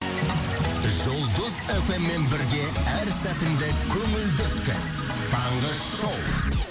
жұлдыз эф эм мен бірге әр сәтіңді көңілді өткіз таңғы шоу